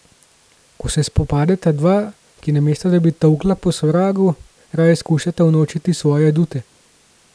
Ko se spopadeta dva, ki namesto da bi tolkla po sovragu, raje skušata unovčiti svoje adute.